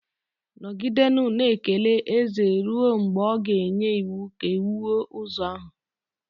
Nọgidenụ na-ekele eze ruo mgbe ọ ga-enye iwu ka e wuo ụzọ ahụ.